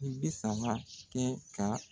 I be sama kɛ ka